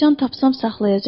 Siçan tapsam saxlayacağam.